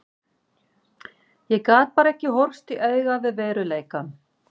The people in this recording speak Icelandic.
Ég gat bara ekki horfst í augu við veruleikann.